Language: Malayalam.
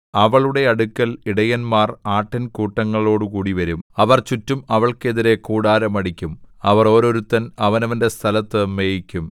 അവളുടെ അടുക്കൽ ഇടയന്മാർ ആട്ടിൻകൂട്ടങ്ങളോടുകൂടി വരും അവർ ചുറ്റും അവൾക്കെതിരെ കൂടാരം അടിക്കും അവർ ഓരോരുത്തൻ അവനവന്റെ സ്ഥലത്തു മേയിക്കും